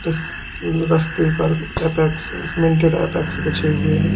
इस रस्ते पर अपेक्स सीमेंटेड अपेक्स बीछे हुए हैं।